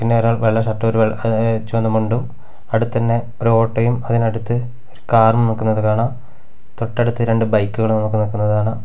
പിന്നെ ഒരാൾ വെള്ള ഷർട്ട് ഒരു വെള്ള ങ് ചുവന്ന മുണ്ടും അടുത്ത് തന്നെ ഒരു ഓട്ടോയും അതിനടുത്ത് ഒരു കാറും നിൽക്കുന്നത് കാണാം തൊട്ടടുത്ത് രണ്ടു ബൈക്കുകളും നമുക്ക് നിൽക്കുന്നത് കാണാം.